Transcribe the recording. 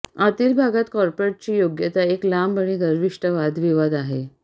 आतील भागात कार्पेटची योग्यता एक लांब आणि गर्विष्ठ वादविवाद आहे